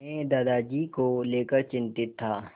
मैं दादाजी को लेकर चिंतित था